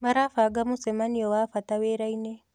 Marabanga mũcemanio wa bata wĩra-inĩ